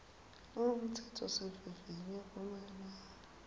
lowo mtsetfosivivinyo kumele